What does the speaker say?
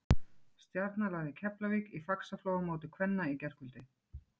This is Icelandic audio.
Stjarnan lagði Keflavík í Faxaflóamóti kvenna í gærkvöld.